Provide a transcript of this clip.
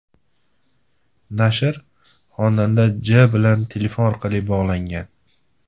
Nashr xonanda J. bilan telefon orqali bog‘langan.